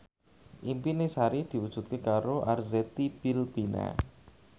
impine Sari diwujudke karo Arzetti Bilbina